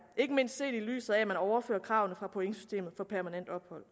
ikke mindst set i lyset af at man overfører kravene fra pointsystemet for permanent ophold